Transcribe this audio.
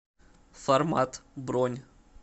формат бронь